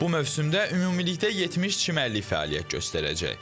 Bu mövsümdə ümumilikdə 70 çimərlik fəaliyyət göstərəcək.